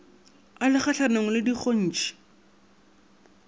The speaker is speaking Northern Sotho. a le kgahlanong le dikgontšhi